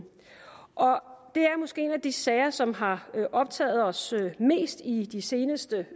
det er måske en af de sager som har optaget os mest i de seneste